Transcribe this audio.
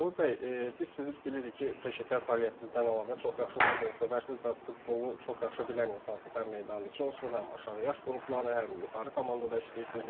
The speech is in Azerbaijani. Sabir bəy, biz sizi bilirik ki, peşəkar fəaliyyətinizdən əlavə çox yaxşı futbolsevərsiniz və futbolu çox yaxşı bilən insansınız həm meydan içi olsun, həm aşağı yaş qrupları, həm yuxarı komandada işləyirsiniz, yəni.